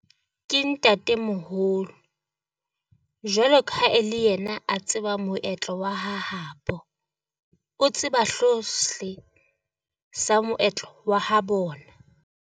Ke ntatemoholo, jwalo ka ha e le yena a tseba moetlo wa ha habo, o tseba sa moetlo wa ha bona.